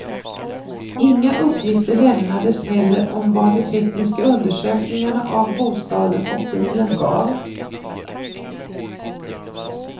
Inga uppgifter lämnades heller om vad de tekniska undersökningarna av bostaden och bilen gav.